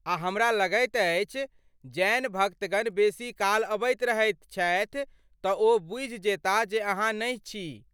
आ हमरा लगैत अछि जैन भक्तगण बेसी काल अबैत रहैत छथि तँ ओ बूझि जेताह जे अहाँ नहि छी।